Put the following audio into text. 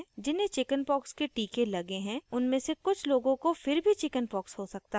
जिन्हें chickenpox के टीके लगे हैं उनमे से कुछ लोगों को फिर भी chickenpox हो सकता है